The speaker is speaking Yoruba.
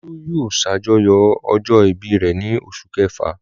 Olú yóò ṣàjọyọ̀ ọjọ́ ìbí rẹ̀ ní oṣù kẹfà.